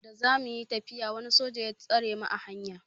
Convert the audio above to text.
Da za muyi tafiya wani soja ya tsare mu a hanya.